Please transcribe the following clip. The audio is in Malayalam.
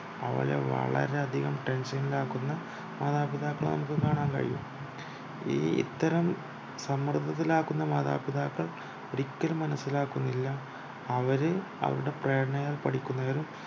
അവളെ വളരെ അധികം tension ൽ ആകുന്ന മാതാപിതാക്കളെ നമുക് കാണാൻ കഴിയും ഈ ഇത്തരം സമ്മർദ്ദത്തിലാക്കുന്നു മാതാപിതാക്കൾ ഒരിക്കലും മനസ്സിലാക്കുന്നില്ല അവര് അവരുടെ പ്രേരണകൾ പഠിക്കുന്നതിൽ